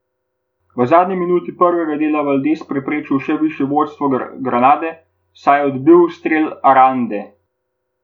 V zadnji minuti prvega dela Valdes preprečil še višje vodstvo Granade, saj je odbil strel Arande.